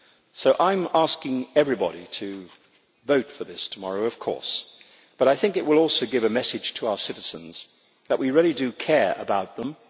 So I am asking everybody to vote for this tomorrow, of course, but I think it will also give a message to our citizens that we really do care about them.